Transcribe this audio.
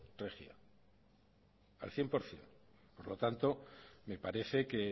regía al cien por ciento por lo tanto me parece que